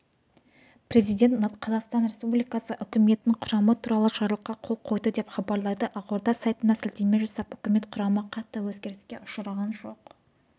президент қазақстан республикасы үкіметінің құрамы туралы жарлыққа қол қойды деп хабарлайды ақорда сайтына сілтеме жасап үкімет құрамы қатты өзгеріске ұшыраған жоқ